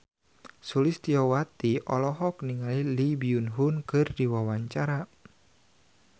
Sulistyowati olohok ningali Lee Byung Hun keur diwawancara